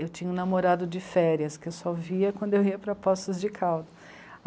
Eu tinha um namorado de férias que eu só via quando eu ia para Poços de Caldas.